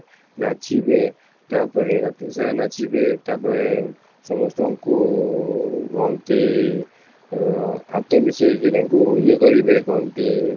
ନାଚିବେ ତାପରେ ରାତିସାରା ନାଚିବେ ତାପରେ ସମସ୍ତଙ୍କୁଉଁ କୁହନ୍ତି ଆଂ ହାତ ମିଶେଇକି ତାଙ୍କୁ ଇଏ କରିବେ କୁହନ୍ତି